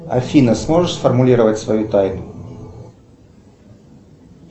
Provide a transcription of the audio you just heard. афина сможешь сформулировать свою тайну